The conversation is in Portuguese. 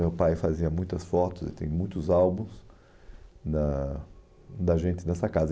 Meu pai fazia muitas fotos e tem muitos álbuns da da gente nessa casa.